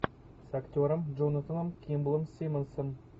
с актером джонатаном кимблом симмонсом